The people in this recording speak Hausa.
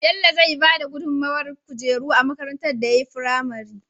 Bello zai bada gudun mawar kujeru a makarantar da yayi fimare